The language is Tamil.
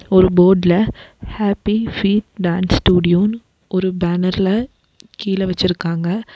ஒரு போட்ல ஹேப்பி ஃபீட் டான்ஸ் ஸ்டுடியோனு ஒரு பேனர்ல கீழே வச்சிருக்காங்க.